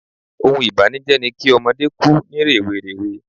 Oun ìbànújẹ́ ni ki ọmọdé ku ni rèwerèwe